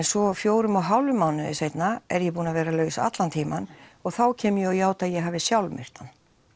svo fjórum og hálfum mánuði seinna er ég búin að vera laus allan tíman og þá kem ég og játa að ég hafi sjálf myrt hann